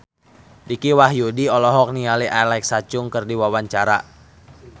Dicky Wahyudi olohok ningali Alexa Chung keur diwawancara